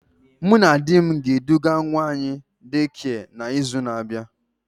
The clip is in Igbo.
Mụ na di m ga eduga nwa anyị Daycare na izu na abịa